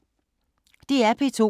DR P2